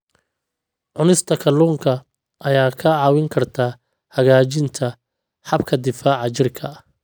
Cunista kalluunka ayaa kaa caawin karta hagaajinta habka difaaca jirka.